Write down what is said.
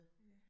Ja